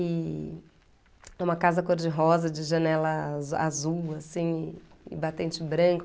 E... Uma casa cor de rosa, de janela a azul, assim, e batente branco.